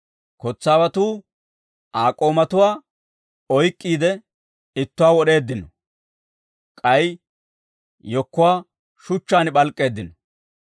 Kotsaawatuu Aa k'oomatuwaa oyk'k'iide, ittuwaa wod'eeddino; k'ay yekkuwaa shuchchaan p'alk'k'eeddino.